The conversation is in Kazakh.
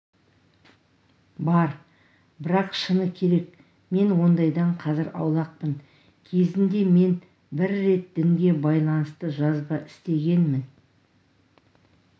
бар бірақ шыны керек мен ондайдан қазір аулақпын кезінде мен бір рет дінге байланысты жазба істегенмін